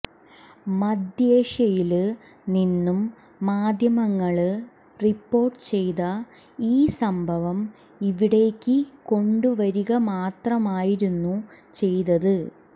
മധ്യേഷ്യയില് നിന്നും മാധ്യമങ്ങള് റിപ്പോര്ട്ട് ചെയ്ത ഈ സംഭവം ഇവിടേക്ക് കൊണ്ടുവരികമാത്രമായിരുന്നു ചെയ്തത്